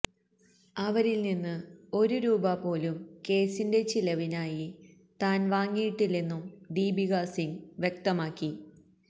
അവരില് നിന്ന് ഒരു രൂപ പോലും കേസിന്റെ ചിലവിനായി താന് വാങ്ങിയിട്ടില്ലെന്നും ദീപിക സിംഗ് വ്യക്തമാക്കി